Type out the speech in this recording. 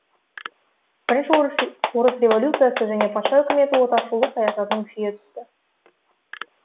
бірінші орыс революциясы және патша үкіметі отаршылдық саясатының күшейе түсуі